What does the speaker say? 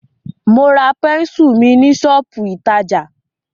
Mo ra pẹ́nsù mi ní ṣọ́pù ìtajà.